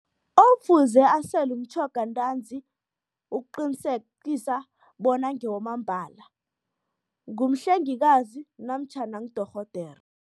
Ofuze asele umtjhoga ntanzi ukuqinisekisa bona ngewamambala ngumhlengikazi namtjhana ngudorhodera.